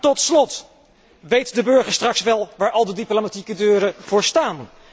Tot slot, weet de burger straks wel waar alle diplomatieke deuren voor staan?